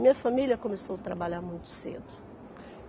Minha família começou a trabalhar muito cedo.